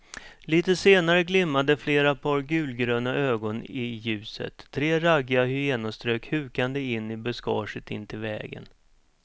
Litet senare glimmade flera par gulgröna ögon i ljuset, tre raggiga hyenor strök hukande in i buskaget intill vägen.